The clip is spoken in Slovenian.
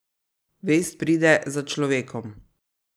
Vest pride za človekom.